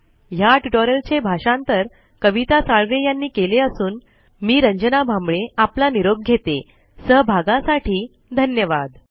ह्या ट्यूटोरियल चे मराठी भाषांतर कविता साळवे यांनी केले असूनआवाज रंजना भांबळे यांनी दिलेला आहे सहभागासाठी धन्यवाद